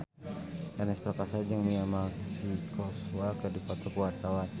Ernest Prakasa jeung Mia Masikowska keur dipoto ku wartawan